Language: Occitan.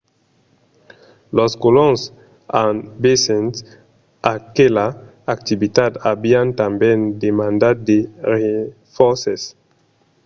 los colons en vesent aquela activitat avián tanben demandat de renfòrces